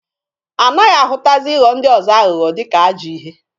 Anaghị ahụtazi ịghọ ndị ọzọ aghụghọ dịka ajọọ ihe.